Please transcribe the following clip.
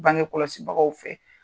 Bange kɔlɔsibagaw fɛ.